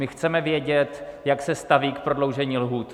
My chceme vědět, jak se staví k prodloužení lhůt.